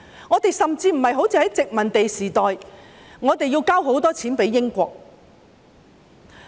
我們甚至無須像在殖民地時代般，要把很多錢交給英國。